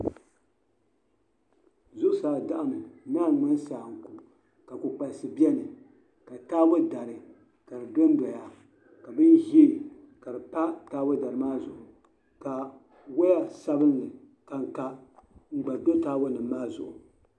Zuɣu saa daɣimi n naan ŋmani saanku ka kpi kpalisi beni ka taabɔdari kadi dɔn doya ka bin zɛɛ kadi pa taabɔ dari maa zuɣu kawaya sabinli ka ka m pa taabɔ dari zuɣu.